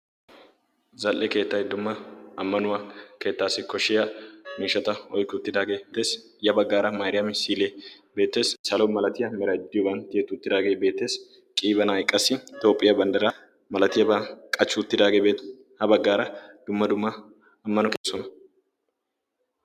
zal7e keettai dumma ammanuwaa keettaassi koshshiya miishata oiki uttidaagee tees ya baggaara mairiyaami silee beetees salo malatiyaa maraajiyooban tiyetuttidaagee beettees qiibanaaiqqassi itoophphiyaa banddaraa malatiyaaban qachchuuttidaageebee ha baggaara dumma dumma ammano keessona